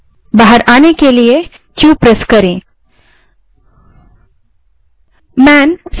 बाहर आने के लिए क्यू q दबायें